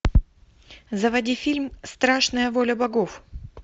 заводи фильм страшная воля богов